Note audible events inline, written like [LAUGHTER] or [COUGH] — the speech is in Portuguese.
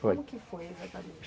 Foi, [UNINTELLIGIBLE] como que foi exatamente?